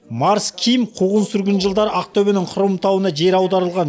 марс ким қуғын сүргін жылдары ақтөбенің хромтауына жер аударылған